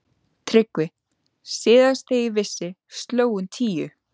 TRYGGVI: Síðast þegar ég vissi sló hún tíu.